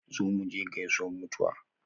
Zo muje gaisuwan mutuwa